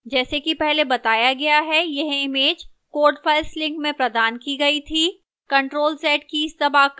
जैसा कि पहले बताया गया है यह image code files link में प्रदान की गई थी